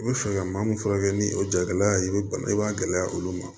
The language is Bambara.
I bɛ fɛ ka maa mun furakɛ ni o jagɛlɛya ye i bɛ bana i b'a gɛlɛya olu ma